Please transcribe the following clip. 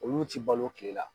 Olu ti balo tile la.